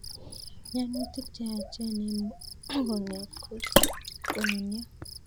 Mianutik che yachen eng' mugongiot ko konunio